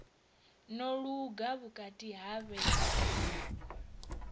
no luga vhukati ha vhege